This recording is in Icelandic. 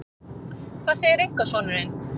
Hvað segir einkasonurinn?